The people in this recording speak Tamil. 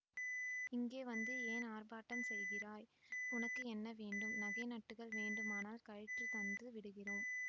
இங்கே வந்து ஏன் ஆர்ப்பாட்டம் செய்கிறாய் உனக்கு என்ன வேண்டும் நகை நட்டுகள் வேண்டுமானால் கழற்றி தந்து விடுகிறோம்